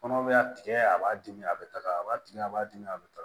Kɔnɔ bɛ a tigɛ a b'a dimi a bɛ taga a b'a tigɛ a b'a dimi a bɛ taga